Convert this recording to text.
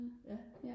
ja